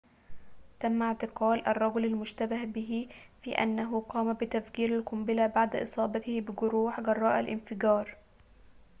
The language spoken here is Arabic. تم اعتقال الرجل المشتبه في أنه قام بتفجير القنبلة بعد إصابته بجروح جراء الانفجار